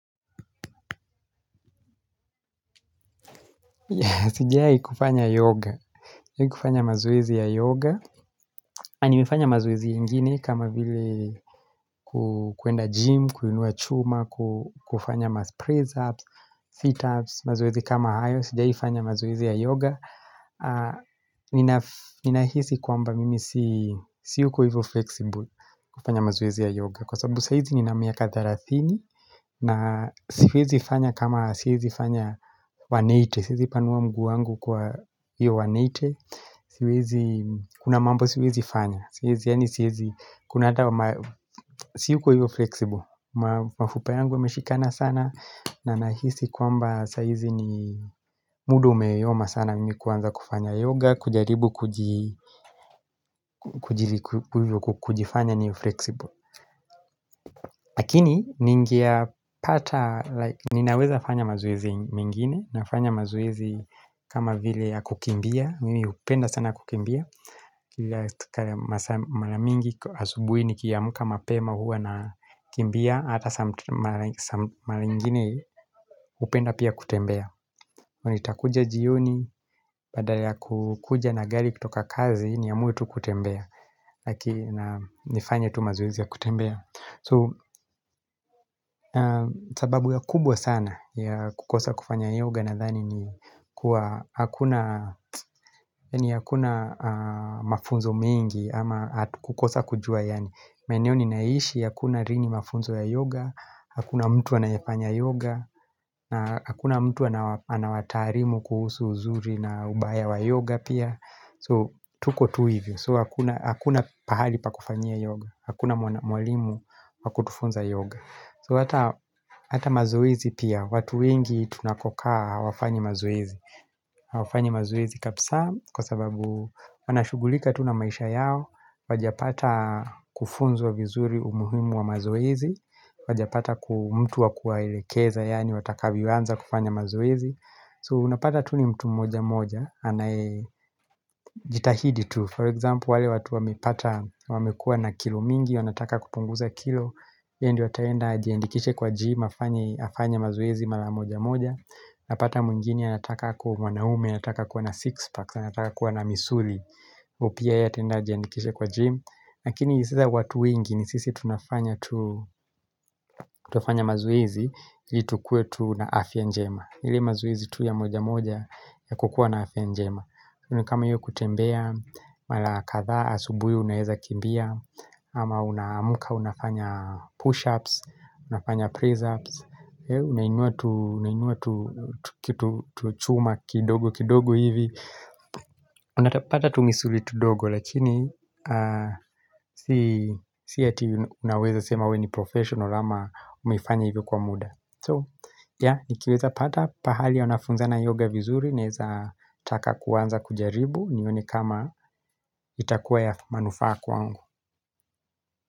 Sijai kufanya yoga Sijai kufanya mazoezi ya yoga A nimefanya mazoezi ingine kama vile kuenda gym, kuinua chuma, kufanya ma press ups, sit ups, mazoezi kama hayo Sijai kufanya mazoezi ya yoga Ninahisi kwamba mimi si yuko hivo flexible kufanya mazoezi ya yoga Kwa sababu saizi ni na miaka thalethini na siezi fanya kama siezi kufanya 180, siezi panuwa mguu wangu kwa hiyo 180 Siwezi, kuna mambo siwezi fanya Siwezi, yani siwezi, kuna ata, si yuko hivyo flexible Mafupa yangu yameshikana sana na nahisi kwamba saizi ni muda umeyoma sana mimi kuwanza kufanya yoga kujaribu kujifanya niwe flexible Lakini, ninaweza fanya mazoezi mengine Nafanya mazoezi kama vile ya kukimbia mimi upenda sana kukimbia Kila maramingi asubui nikiamuka mapema huwa na kimbia Hata mara ingine upenda pia kutembea nitakuja jioni Baada ya kukuja na gari kutoka kazi Niamue tu kutembea Lakini nifanya tu mazoezi ya kutembea So sababu ya kubwa sana ya kukosa kufanya yoga nadhani ni kuwa hakuna mafunzo mingi ama kukosa kujua yani Meneo ni naishi hakuna rini mafunzo ya yoga Hakuna mtu anayafanya yoga Hakuna mtu anawataarimu kuhusu uzuri na ubaya wa yoga pia So tuko tuivyo So hakuna pahali pa kufanyia yoga Hakuna mwalimu waku tufunza yoga So hata mazoezi pia watu wengi tunakokaa hawafanyi mazoezi Hawafanyi mazoezi kapsa kwa sababu wanashugulika tu na maisha yao Wajapata kufunzwa vizuri umuhimu wa mazoezi Wajapata mtu wakuaelekeza yani watakavyo anza kufanya mazoezi So unapata tu ni mtu moja moja anae jitahidi tu for example wale watu wamepata wamekua na kilo mingi wanataka kupunguza kilo ye ndio ataenda ajiendikishe kwa gym afanye mazoezi mala moja moja Napata mwengini anataka kwa mwanaume, anataka kuwa na six packs, anataka kwa na misuli u Opia ya tenda jandikishe kwa gym lakini sasa watu wengi ni sisi tunafanya mazuezi ili tukue tu na afya njema ile mazoezi tu ya moja moja ya kukua na afya njema ona kama iyo kutembea, mala kadha asubui unaeza kimbia ama unaamuka unafanya push ups, unafanya press ups Unainua tuchuma kidogo kidogo hivi Unatapata tumisuli tudogo Lakini si hati unaweza sema we ni professional ama umeifanya hivo kwa muda So ya, nikiweza pata pahali wanafunzana yoga vizuri Naeza taka kuwanza kujaribu nione kama itakuwa ya manufaa kwangu.